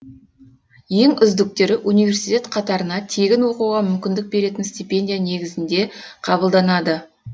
ең үздіктері университет қатарына тегін оқуға мүмкіндік беретін стипендия негізінде қабылданады